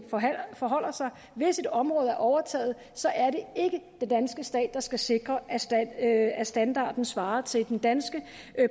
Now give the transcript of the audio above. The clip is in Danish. forholder sig hvis et område er overtaget så er det ikke den danske stat der skal sikre at at standarden svarer til den danske